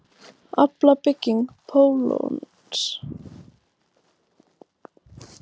Alfa-bygging pólons.